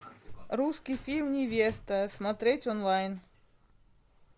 русский фильм невеста смотреть онлайн